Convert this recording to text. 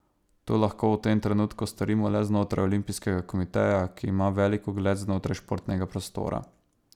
To lahko v tem trenutku storimo le znotraj olimpijskega komiteja, ki ima velik ugled znotraj športnega prostora.